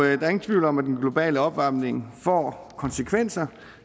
er ingen tvivl om at den globale opvarmning får konsekvenser